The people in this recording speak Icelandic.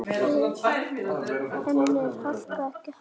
En er Harpa ekki Harpa?